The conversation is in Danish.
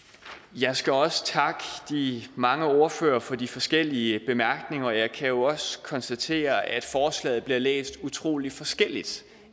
jeg skal også takke de mange ordførere for de forskellige bemærkninger og jeg kan jo også konstatere at forslaget bliver læst utrolig forskelligt